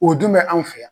O dun bɛ anw fɛ yan